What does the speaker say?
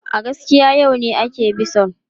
A gaskiya, yau ne ake bison.